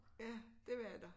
Ja dét var der